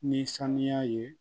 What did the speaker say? Ni sanuya ye